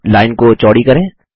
अब लाइन को चौड़ी करें